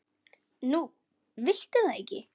Nú viltu það ekki?